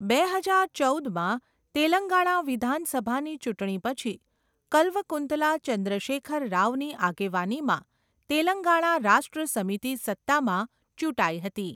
બે હજાર ચૌદમાં તેલંગાણા વિધાનસભાની ચૂંટણી પછી કલ્વકુંતલા ચંદ્રશેખર રાવની આગેવાનીમાં તેલંગાણા રાષ્ટ્ર સમિતિ સત્તામાં ચૂંટાઈ હતી.